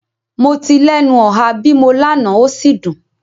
Mo ti lenu oha bimo lana o si dun